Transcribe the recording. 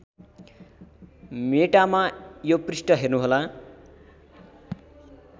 मेटामा यो पृष्ठ हेर्नुहोला